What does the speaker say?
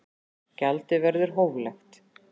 Gjaldið verður hóflegt